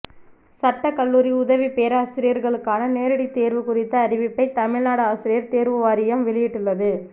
சட்ட கல்லூரி உதவி பேராசிரியர்களுக்கான நேரடி தேர்வு குறித்த அறிவிப்பை தமிழ்நாடு ஆசிரியர் தேர்வு வாரியம் வெளியிட்டுள்ளது